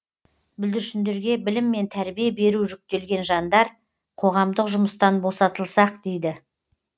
бүлдіршіндерге білім мен тәрбие беру жүктелген жандар қоғамдық жұмыстан босатылсақ дейді